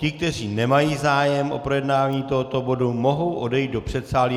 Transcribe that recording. Ti, kteří nemají zájem o projednání tohoto bodu, mohou odejít do předsálí.